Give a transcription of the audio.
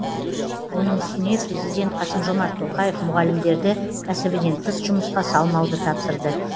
оның үстіне президент қасым жомарт тоқаев мұғалімдерді кәсібінен тыс жұмысқа салмауды тапсырды